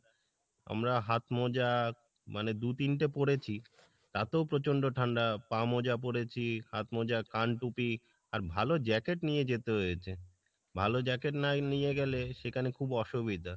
আমরা হাত মোজা মানে দু তিনটে পড়েছি এতো প্রচণ্ড ঠাণ্ডা পা মোজা পরেছি হাত মোজা কাণ টুপি আর ভালো jacket নিয়ে যেতে হয়েছে, ভালো jacket না নিয়ে গেলে সেখানে খুব অসুবিধা,